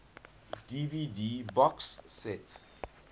dvd box set